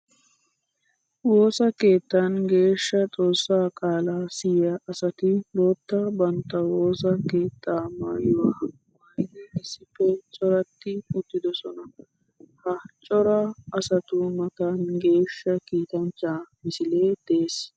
Woosa keettan geeshsha xoosa qaala siyiya asatti bootta bantta woosa keetta maayuwa maayiddi issippe coratti uttidossonna. Ha cora asattu matan geeshsha kiittanchcha misile de'ees.